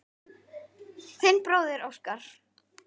Þinn bróðir Óskar.